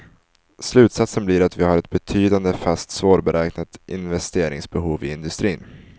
Slutsatsen blir att vi har ett betydande fast svårberäknat investeringsbehov i industrin.